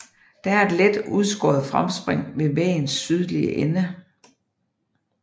Der er et let udskåret fremspring ved væggens sydlige ende